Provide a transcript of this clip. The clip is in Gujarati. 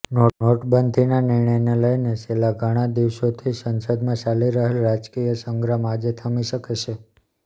નોટબંધીના નિર્ણયને લઇને છેલ્લા ઘણા દિવસોથી સંસદમાં ચાલી રહેલ રાજકીય સંગ્રામ આજે થમી શકે છે